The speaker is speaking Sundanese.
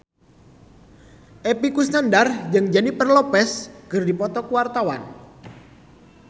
Epy Kusnandar jeung Jennifer Lopez keur dipoto ku wartawan